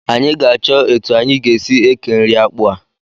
Anyị ga-achọ etu anyị ga-esi eke nri akpụ a